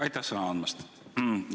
Aitäh sõna andmast!